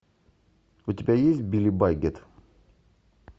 у тебя есть билли батгейт